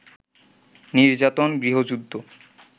নির্যাতন - গৃহযুদ্ধ